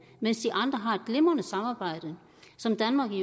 mens de andre har et glimrende samarbejde som danmark i